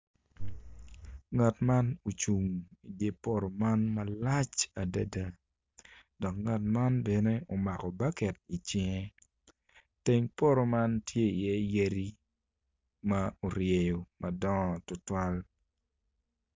Ngat man ocung idye poto man malac adada dok nagt man bene omako baket icinge teng poto man tye iye yadi ma oryeyo madongo tutwal.